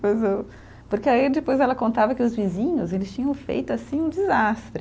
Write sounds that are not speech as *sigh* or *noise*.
*unintelligible* Porque aí depois ela contava que os vizinhos eles tinham feito assim um desastre.